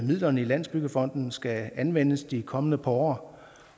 midlerne i landsbyggefonden skal anvendes de kommende år